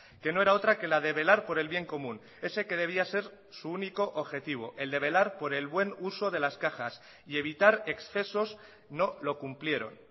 que no era otra que la de velar por el bien común ese que debía ser su único objetivo el de velar por el buen uso de las cajas y evitar excesos no lo cumplieron